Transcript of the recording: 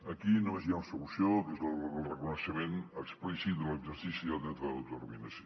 aquí només hi ha una solució que és el reconeixement explícit de l’exercici del dret a l’autodetermi·nació